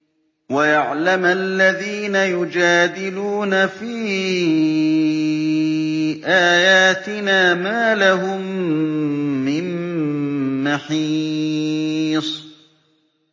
وَيَعْلَمَ الَّذِينَ يُجَادِلُونَ فِي آيَاتِنَا مَا لَهُم مِّن مَّحِيصٍ